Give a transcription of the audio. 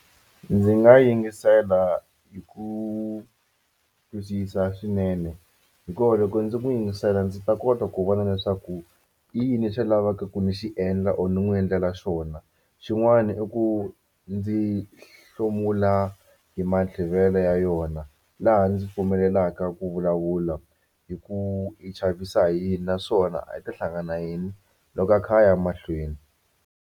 Ndzi nga yingisela hi ku twisisa swinene hikuva loko ndzi n'wi yingisela ndzi ta kota ku vona leswaku i yini lexi lavaka ku ndzi xi endla or ni n'wi endlela xona xin'wana i ku ndzi hlomula hi ya yona laha ndzi pfumelelaka ku vulavula hi ku i chavisa hi yini naswona a i ta hlangana na yini loko a kha a ya mahlweni.